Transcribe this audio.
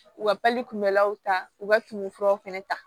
U ka kunbɛlaw ta u ka tumu furaw fana ta